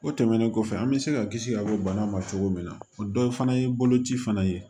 O tɛmɛnen kɔfɛ an bɛ se ka kisi ka bɔ bana ma cogo min na o dɔ ye fana ye boloci fana ye